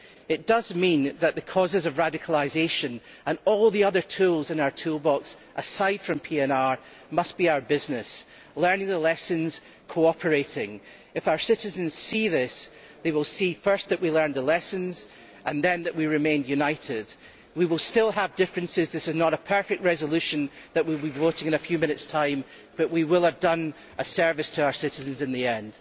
It means that the causes of radicalisation, and all the other tools in our toolbox aside from PNR, must be our business, as we learn the lessons and cooperate. If our citizens see this, they will see first that we have learned the lessons and then that we can remain united. We will still have differences this is not a perfect resolution that we will be voting on in a few minutes' time but we will have done a service to our citizens in the end.